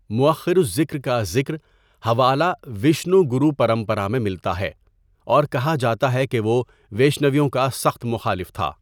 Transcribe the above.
مؤخر الذکر کا ذکرحوالہ ویشنو گروپرمپرا میں ملتا ہے اور کہا جاتا ہے کہ وہ ویشنویوں کا سخت مخالف تھا۔